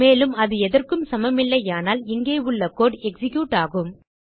மேலும் அது எதற்கும் சமமில்லையானால் இங்கே உள்ள கோடு எக்ஸிக்யூட் ஆகும்